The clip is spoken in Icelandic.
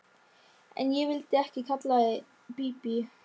En ég vildi ekki kalla þig Bíbí.